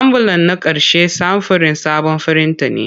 Ambulan na ƙarshe samfurin sabon firinta ne.